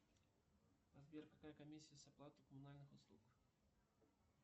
сбер какая комиссия с оплаты коммунальных услуг